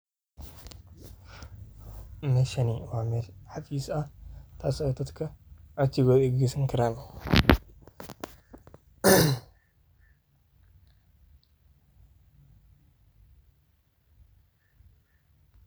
Meshaan waa mel cafiis aah taaso oo dadka codsigoda eey kaa geysan kaaran